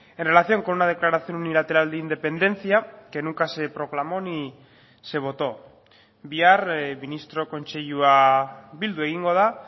en relación con una declaración unilateral de independencia que nunca se proclamó ni se votó bihar ministro kontseilua bildu egingo da